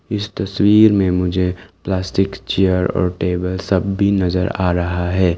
इस तस्वीर में मुझे प्लास्टिक चेयर और टेबल सब भी नजर आ रहा है।